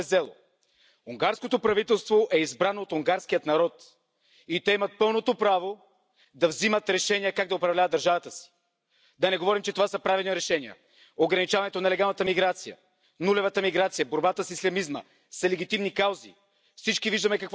Ami pedig az eljárást illeti, sokkal szerencsésebb lenne azonos szempontok és azonos mérce alapján megvizsgálni az összes tagállamban az alapértékek, az emberi jogok, a kisebbségek jogainak érvényesülését, mert ez a fajta pellengérre állítás csak politikai alapú támadásként értékelhető.